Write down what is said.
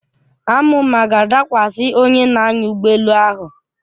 Àmụ̀mà ga-adakwasị onye na-anya ụgbọelu ahụ.